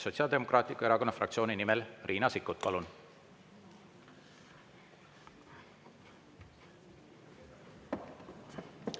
Sotsiaaldemokraatliku Erakonna fraktsiooni nimel Riina Sikkut, palun!